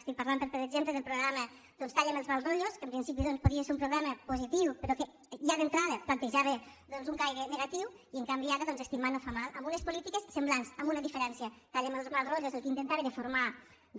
estic parlant per exemple del programa talla amb els mal rotllos que en principi doncs podia ser un programa positiu però que ja d’entrada plantejava un caire negatiu i en canvi ara doncs estimar no fa mal amb unes polítiques semblants amb una diferència talla amb els mal rotllos el que intentava era formar